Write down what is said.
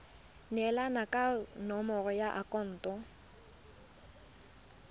neelana ka nomoro ya akhaonto